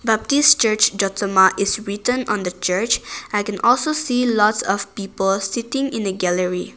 Baptist church jotsoma is written on the church i can also see lots of people sitting in a gallery.